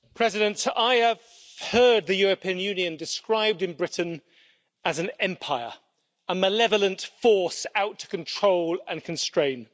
Mr President, I have heard the European Union described in Britain as an empire, a malevolent force out to control and constraint.